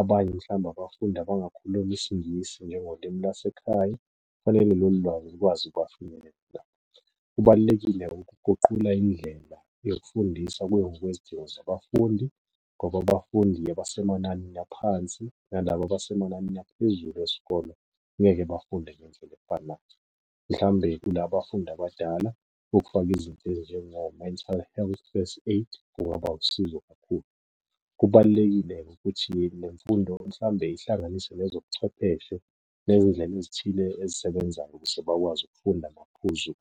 abanye mhlawumbe abafundi abangakhulumi isingisi njengolimi lasekhaya. Kufanele lolu lwazi likwazi ukubafinyelela . Kubalulekile-ke ukuguqula indlela yokufundiswa kuye ngokwezidingo zabafundi, ngoba abafundi abasemananini aphansi, nalaba abasemananini aphezulu esikolo ngeke bafunde ngendlela efanayo. Mhlawumbe kula bafundi abadala, ukufaka izinto ezinjengo-mental health first aid, kungaba usizo kakhulu. Kubalulekile-ke ukuthi nemfundo mhlawumbe ihlanganise nezobuchwepheshe nezindlela ezithile ezisebenzayo ukuze bakwazi ukufunda amaphuzu .